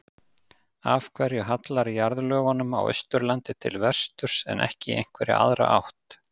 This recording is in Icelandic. Af hverju hallar jarðlögunum á Austurlandi til vesturs en ekki í einhverja aðra átt?